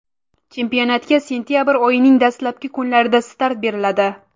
Chempionatga sentabr oyining dastlabki kunlarida start beriladi.